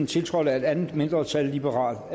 tiltrådt af et andet mindretal og